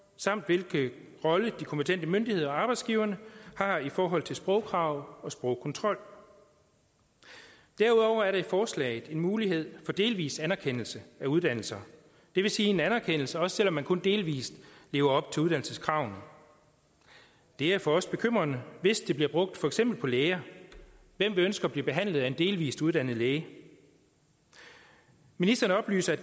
samt hvilken rolle de kompetente myndigheder og arbejdsgiverne har i forhold til sprogkrav og sprogkontrol derudover er der i forslaget en mulighed for delvis anerkendelse af uddannelser det vil sige en anerkendelse også selv om man kun delvis lever op til uddannelseskravene det er for os bekymrende hvis det bliver brugt for eksempel på læger hvem vil ønske at blive behandlet af en delvis uddannet læge ministeren oplyser at